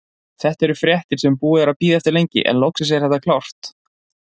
Þetta eru fréttir sem búið er að bíða eftir lengi, en loksins er þetta klárt.